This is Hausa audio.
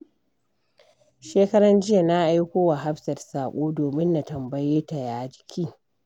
Shekaran jiya, na aiko wa Hafsat saƙo domin na tambaye ta ya jiki.